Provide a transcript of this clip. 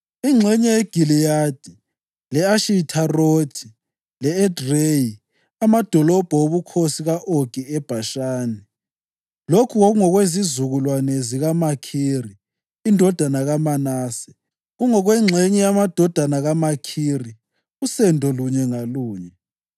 ingxenye yeGiliyadi, le-Ashitharothi le-Edreyi (amadolobho obukhosi ka-Ogi eBhashani). Lokhu kwakungokwezizukulwane zikaMakhiri indodana kaManase, kungokwengxenye yamadodana kaMakhiri usendo lunye ngalunye.